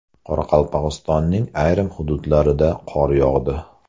Qoraqalpog‘istonning ayrim hududlarida qor yog‘di .